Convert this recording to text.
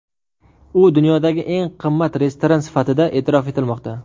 U dunyodagi eng qimmat restoran sifatida e’tirof etilmoqda.